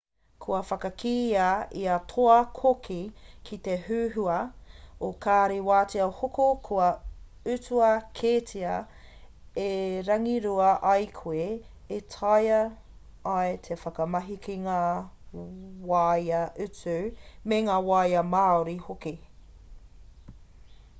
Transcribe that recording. kua whakakīia ia toa-koki ki te huhua o kāri wāea hoko kua utua kētia e rangirua ai koe e taea ai te whakamahi ki ngā waea utu me ngā wāea māori hoki